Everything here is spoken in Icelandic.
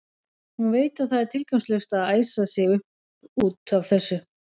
Hún veit að það er tilgangslaust að æsa sig upp út af þessu.